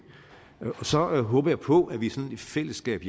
så håber jeg på at vi sådan i fællesskab